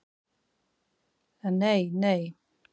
En nei, nei.